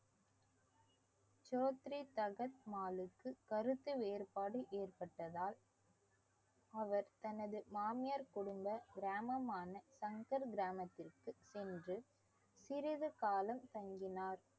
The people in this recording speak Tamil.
சோத்ரி தகர் மாலிக்கு கருத்து வேறுபாடு ஏற்பட்டதால் அவர் தனது மாமியார் குடும்ப கிராமமான சங்கர் கிராமத்திற்கு சென்று சிறிது காலம் தங்கினார்